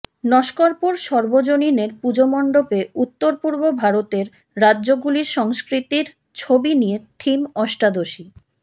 নস্করপুর সর্বজনীনের পুজোমণ্ডপে উত্তরপূর্ব ভারতের রাজ্যগুলির সংস্কৃতির ছবি নিয়ে থিম অষ্টাদশী